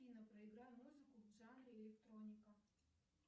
афина проиграй музыку в жанре электроника